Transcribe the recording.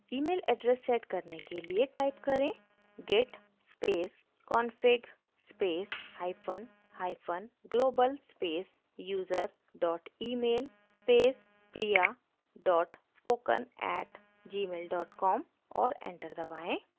email address set करने के लिए type करें: git space config space hyphen hyphen global space user dot email space priya dot spoken @gmail com और enter दबाएँ